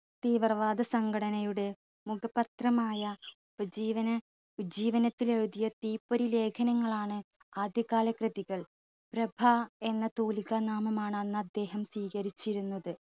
തീവ്രവാദ സംഘടനയുടെ മുഖപത്രമായ ഉപജീവന ഉജ്ജീവനത്തിലെഴുതിയ തീപ്പൊരി ലേഖനങ്ങളാണ് ആദ്യ കാല കൃതികൾ. പ്രഭ എന്ന തൂലിക നാമമാണ് അന്ന് അദ്ദേഹം സ്വീകരിച്ചിരുന്നത്